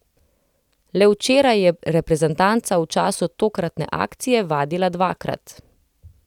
Le včeraj je reprezentanca v času tokratne akcije vadila dvakrat.